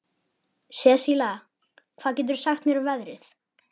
Sesilía, hvað geturðu sagt mér um veðrið?